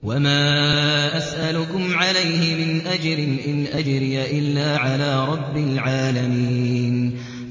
وَمَا أَسْأَلُكُمْ عَلَيْهِ مِنْ أَجْرٍ ۖ إِنْ أَجْرِيَ إِلَّا عَلَىٰ رَبِّ الْعَالَمِينَ